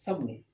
Sabu